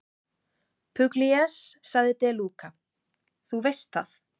Pugliese, sagði De Luca, þú veist það.